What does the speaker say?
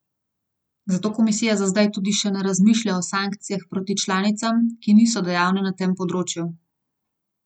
Zato komisija za zdaj tudi še ne razmišlja o sankcijah proti članicam, ki niso dejavne na tem področju.